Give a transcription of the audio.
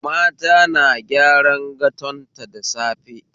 Mata na gyaran gatonta da safe